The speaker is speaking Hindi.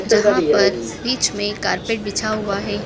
जहाँ पर बीच में कारपेट बिछा हुआ है।